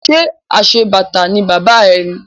Ṣé aṣebàtà ni bàbá ẹ ni?